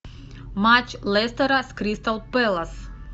матч лестера с кристал пэлас